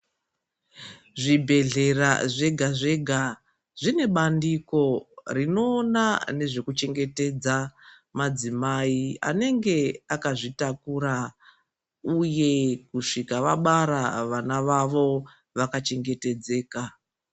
Zvibhedhlera zvega zvega zvine bandiko rinoona nezvekuchengetedza madzimai anenge akazvitakura uye kusvika vabara vana vavo vakachengetedzeka.